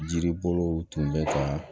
Jiri bolow tun bɛ ka